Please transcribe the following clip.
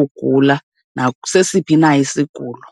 ugula nasesiphi na isigulo.